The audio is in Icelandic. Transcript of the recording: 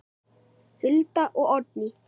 Hulda og Oddný.